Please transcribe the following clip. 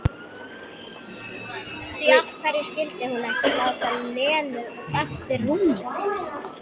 Því af hverju skyldi hún ekki láta Lenu eftir rúmið?